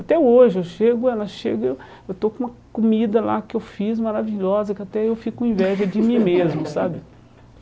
Até hoje, eu chego, ela chega, eu eu estou com uma comida lá que eu fiz maravilhosa, que até eu fico com inveja de mim mesmo, sabe?